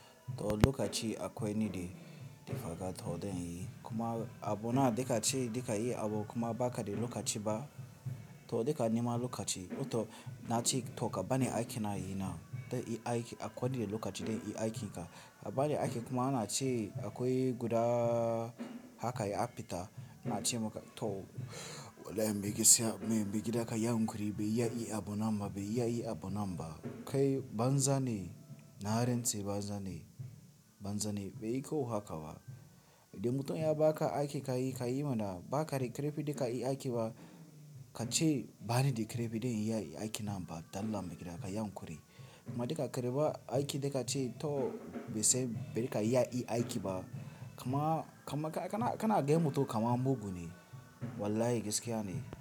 To lokaci akwai niɗi, different haka toh den yi. Kuma a bona da kaci, da ka yi abu kuma ba kaɗai lokaci ba. To da ka nema lokaci, to na ci thoka bani ake na yi na. Da i ake akwai niɗe lokaci dai i ake ka. A bani ake kuma ana ci akwai guda haka ya aɓi ta. Na ci maka to wallahi me ke siya, me ke da haka yawon kuri, bai yi a yi a bona ma, bai yi a yi a bona ba. Kai banza ne, na rantse banza ne, banza ne. Bai yi ko haka ba. Da mutum ya ba ka ake ka yi, ka yi mana ba ka rike refi da ka yi ake ba. Ka ci bani da kerefi dai i ake na ba. Dan lam me ke da haka yawon kuri. Ma da ka rike ba ake da ka ci to ba sai bai da ka yi ake ba. Kuma ka na a ga mutum ka ma mugu ne. Wallahi gaskiya ne.